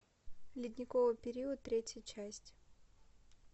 ледниковый период третья часть